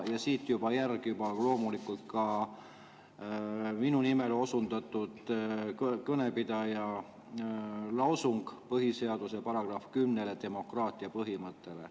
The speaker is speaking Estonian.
Järg on minu nimele osundanud kõnepidaja põhiseaduse §‑le 10, demokraatia põhimõttele.